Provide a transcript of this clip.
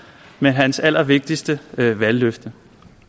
med hans allervigtigste valgløfte